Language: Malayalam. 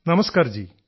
നമസ്കാർജീ